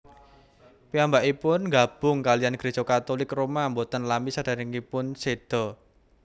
Piyambakipun nggabung kaliyan Gereja Katulik Roma boten lami saderengipun seda